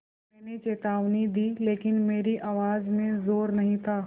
मैंने चेतावनी दी लेकिन मेरी आवाज़ में ज़ोर नहीं था